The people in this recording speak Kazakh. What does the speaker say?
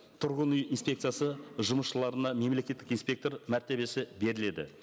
тұрғын үй инспекциясы жұмысшыларына мемлекеттік инспектор мәртебесі беріледі